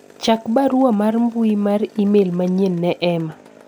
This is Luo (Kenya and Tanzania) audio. chak barua mar mbui mar email manyien ne Emma